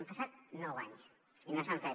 han passat nou anys i no s’ha fet